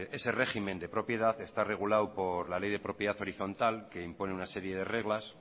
ese régimen de propiedad está regulado por la ley de propiedad horizontal que impone una serie de reglas